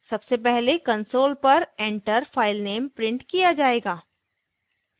सबसे पहले console पर enter filename printed किया जायेगा